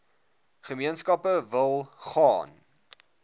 gemeenskappe wil gaan